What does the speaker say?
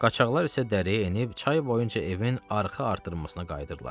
Qaçaklar isə dərəyə enib çay boyunca evin arxa artırmasına qayıdırlar.